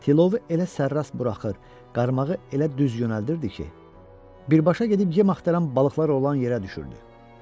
Tilovu elə sərrast buraxır, qaramağı elə düz yönəldirdi ki, birbaşa gedib yem axtaran balıqlar olan yerə düşürdü.